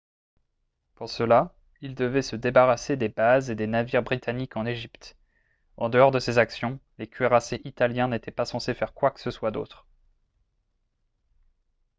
pour cela ils devaient se débarrasser des bases et des navires britanniques en égypte en dehors de ces actions les cuirassés italiens n'étaient pas censés faire quoi que ce soit d'autre